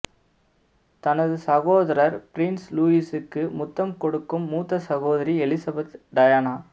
தனது சகோதரர் பிரின்ஸ் லூயிஸைக்கு முத்தம் கொடுக்கும் மூத்த சகோதரி எலிசபெத் டயானா